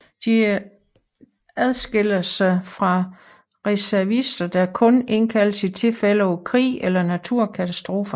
De adskiller sig fra reservister der kun indkaldes i tilfælde af krig eller naturkatastrofer